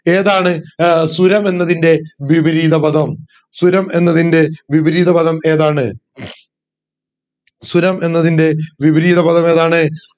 ഏതാണ് ഏർ സുരം എന്നതിന്റെ വിപരീത പദം സുരം എന്നതിന്റെ വിപരീത പദം ഏതാണ് സുരം എന്നതിന്റെ വിപരീത പദമേതാണ്